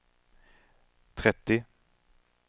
trettio